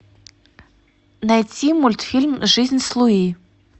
найти мультфильм жизнь с луи